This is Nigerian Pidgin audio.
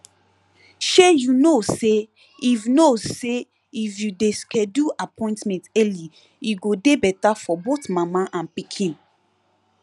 shey you know say if know say if you de schedule appointment early e go de better for both mama and pikin